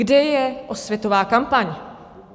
Kde je osvětová kampaň?